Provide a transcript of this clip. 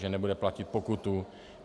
Že nebude platit pokutu.